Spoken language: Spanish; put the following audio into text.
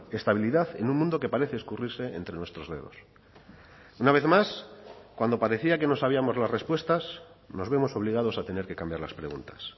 estabilidad en un mundo que parece escurrirse entre nuestros dedos una vez más cuando parecía que nos sabíamos las respuestas nos vemos obligados a tener que cambiar las preguntas